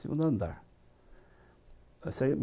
Segundo andar